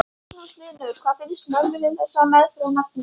Magnús Hlynur: Hvað finnst mömmunni um þessa meðferð á nafninu?